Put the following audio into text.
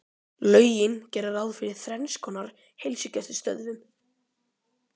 Lögin gera ráð fyrir þrenns konar heilsugæslustöðvum